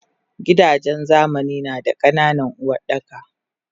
Gidajen zamani nada ka nanan Uwardaka